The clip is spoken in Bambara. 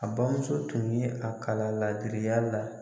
A bamuso tun ye a kalan laadiriya la.